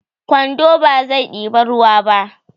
kwando bazai iya ɗiban ruwa ba